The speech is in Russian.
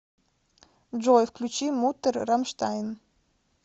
джой включи муттер рамштайн